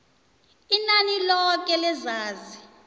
inani loke lezazi